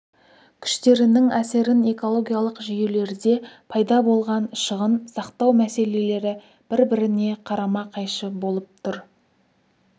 күштерінің әсерін экологиялық жүйелерде пайда болған шығын сақтау мәселелері бір-біріне қарама-қайшы болып тұр